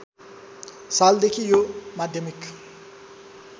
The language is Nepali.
सालदेखि यो माध्यमिक